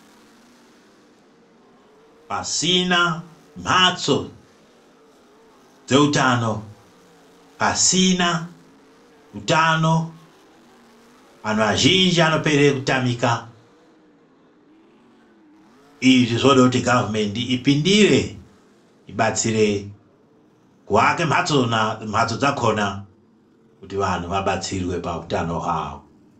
Pasina mhatso dzeutano, pasina utano vantu vazhinji vanopere kutamika, izvi zvinode kuti gavhumende ipindire ibatsire kuake mhatso dzakona kuti vantu vabatsirwe pahutano hwavo.